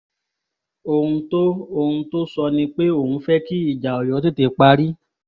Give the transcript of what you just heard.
ohun tó ohun tó ń sọ ni pé òun fẹ́ kí ìjà ọ̀yọ́ tètè parí